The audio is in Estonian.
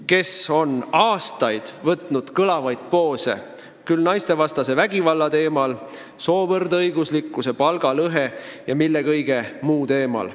Nad on aastaid kõlavalt sõna võtnud küll naistevastase vägivalla teemal, küll soovõrdõiguslikkuse, palgalõhe ja mille kõige muu teemal.